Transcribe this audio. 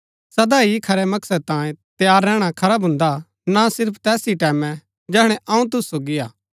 सदा ही खरै मकसद तांये तैयार रैहणै खरा भून्दा हा ना सिर्फ तैस ही टैमैं जैहणै अऊँ तुसु सोगी हा